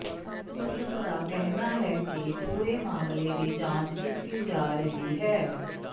ਪੁਲਸ ਦਾ ਕਹਿਣਾ ਹੈ ਕਿ ਪੂਰੇ ਮਾਮਲੇ ਦੀ ਜਾਂਚ ਕੀਤੀ ਜਾ ਰਹੀ ਹੈ